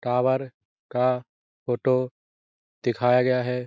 Tower का photo दिखाया गया है ।